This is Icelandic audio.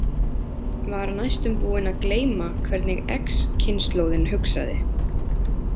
Var næstum búin að gleyma hvernig X- kynslóðin hugsaði.